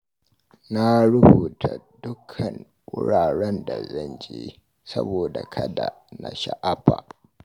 Na rubuta dukkan wuraren da zan je, saboda kada na sha'afa